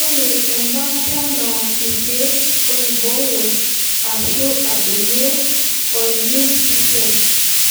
Ore embaata na ilkeek oiboyo, ashu adoyio,o immune system